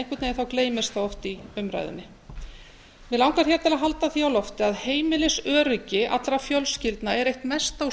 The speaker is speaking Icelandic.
einhvern veginn gleymist það oft í umræðunni mig langar hér til að halda því á lofti að heimilisöryggi allra fjölskyldna er eitt mesta og